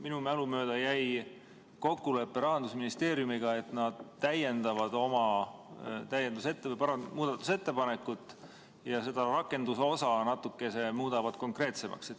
Minu mälu mööda jäi kokkulepe Rahandusministeeriumiga, et nad täiendavad oma muudatusettepanekut ja muudavad rakendusosa natuke konkreetsemaks.